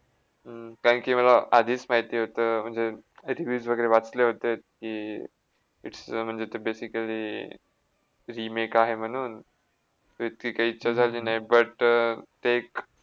हम्म कारण कि मला आधीच माहिती होत म्हणजे rewies वगैरे वाचले होते कि its a म्हणजे basically remake आहे म्हणून तर इतकी काय इच्छा झाली नाही but एक